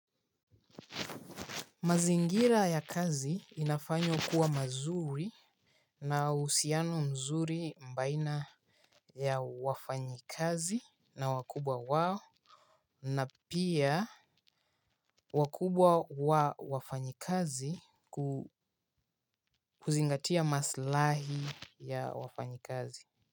Mazingira ya kazi inafanywa kuwa mazuri na uhusiano mzuri baina ya wafanyikazi na wakubwa wao na pia wakubwa wa wafanyikazi kuzingatia maslahi ya wafanyikazi.